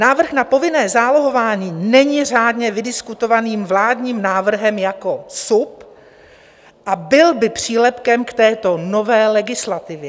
Návrh na povinné zálohování není řádně vydiskutovaným vládním návrhem jako SUP a byl by přílepkem k této nové legislativě.